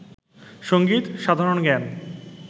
সংগীত, সাধারণ জ্ঞান